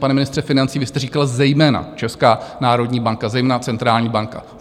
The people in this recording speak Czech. Pane ministře financí, vy jste říkal - zejména Česká národní banka, zejména centrální banka.